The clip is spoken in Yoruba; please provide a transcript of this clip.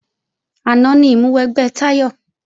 Àná ni ìmúwẹgbẹ́ Táyọ̀